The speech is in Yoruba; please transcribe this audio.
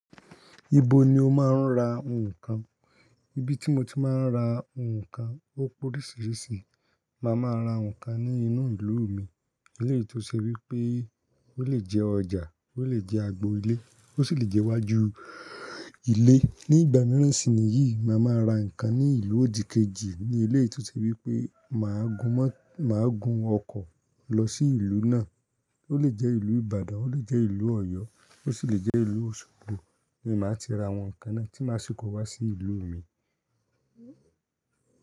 Ibo ni o máa ń ra ǹkan? Ibi tí mo ti máa ń ra ǹkan ó pé oríṣiríṣi. Màá máa ra ǹkan ní inú ìlú mi, eléyìí tó ṣe wípé ó lè jẹ́ ọjà, ó lè jẹ́ agbo ilé, ó sì lè jẹ́ iwájú ilé. Ní ìgbà mìíràn sì ni yìí, màá máa ra nǹkan ní ìlú òdìkejì ní eléyìí tó ṣe wípé màá gun mọ-- màá gun ọkọ̀ lọ sí ìlú náà. Ó lè jẹ́ ìlú Ìbàdàn, ó lè jẹ́ ìlú Ọ̀yọ́, ó sì lè jẹ́ ìlú Osogbo ni màá ti ra àwọn ǹkan náà tí màá ṣíko wá sí ìlú mi.